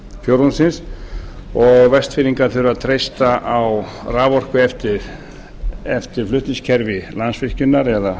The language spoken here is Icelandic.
fjórðungsins og vestfirðingar þurfa að treysta á raforku eftir flutningskerfi landsvirkjunar eða